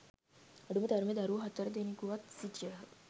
අඩුම තරමේ දරුවෝ හතර දෙනකුවත් සිටියහ